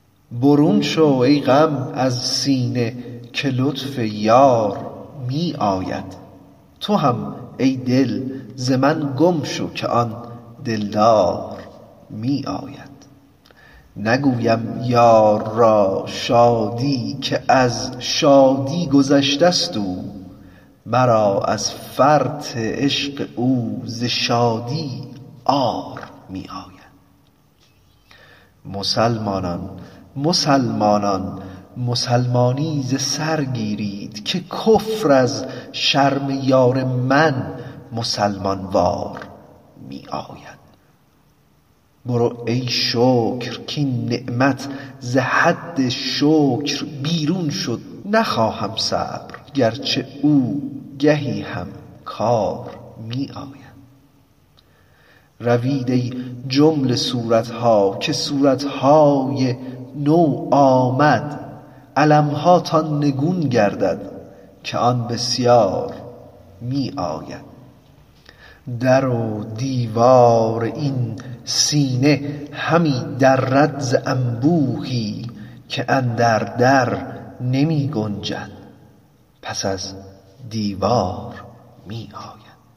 برون شو ای غم از سینه که لطف یار می آید تو هم ای دل ز من گم شو که آن دلدار می آید نگویم یار را شادی که از شادی گذشتست او مرا از فرط عشق او ز شادی عار می آید مسلمانان مسلمانان مسلمانی ز سر گیرید که کفر از شرم یار من مسلمان وار می آید برو ای شکر کاین نعمت ز حد شکر بیرون شد نخواهم صبر گرچه او گهی هم کار می آید روید ای جمله صورت ها که صورت های نو آمد علم هاتان نگون گردد که آن بسیار می آید در و دیوار این سینه همی درد ز انبوهی که اندر در نمی گنجد پس از دیوار می آید